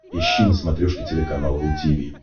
ищи на смотрешке телеканал ру ти ви